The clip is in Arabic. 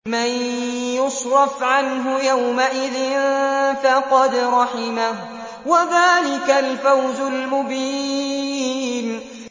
مَّن يُصْرَفْ عَنْهُ يَوْمَئِذٍ فَقَدْ رَحِمَهُ ۚ وَذَٰلِكَ الْفَوْزُ الْمُبِينُ